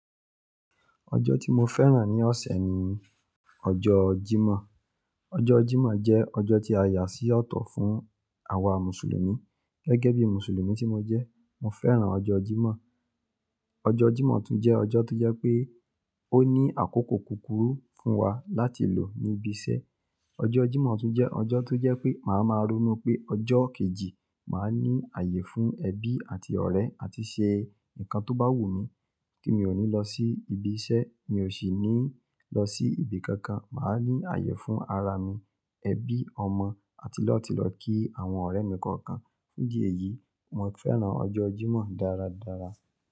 Ọjọ́ tí mo fẹ́ràn ní ọ̀sẹ̀ ni ọjọ́ Jímọ̀. Ọjọ́ Jímọ̀ jẹ́ ọjọ́ tí a yà sí ọ̀tọ̀ fún àwa Mùsùlùmí. Gẹ́gẹ́ bí Mùsùlùmí tí mo jẹ́, mo fẹ́ràn ọjọ́ Jímọ̀. Ọjọ́ Jímọ̀ tún jẹ́ ọjọ́ tó jẹ́ pé ó ní àkókò kúkúrú fún wa láti lò níbi iṣẹ́. Ọjọ́ Jímọ̀ tún jẹ́ ọjọ́ tó jẹ́ pé màá máa ronú pé ọjọ́ kejì, màá ní ààyè fún ẹbí àti ọ̀rẹ́ àti ṣe nǹkan tó bá wù mí tí mi ò ní lọ sí ibi iṣẹ́, mi ò sì ní lọ sí ibi kankan. Màá ní ààyè fún ara mi, ẹbí, ọmọ àti lọ tilọ ki àwọn ọ̀rẹ́ mi kọ̀ọ̀kan. Fún idi èyí, mo fẹ́ràn ọjọ́ Jímọ̀ dáradára.